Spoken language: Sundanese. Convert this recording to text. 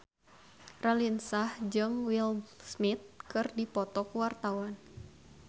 Raline Shah jeung Will Smith keur dipoto ku wartawan